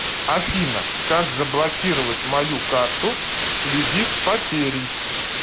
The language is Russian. афина как заблокировать мою карту всвязи с потерей